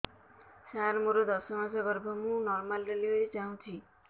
ସାର ମୋର ଦଶ ମାସ ଗର୍ଭ ମୁ ନର୍ମାଲ ଡେଲିଭରୀ ଚାହୁଁଛି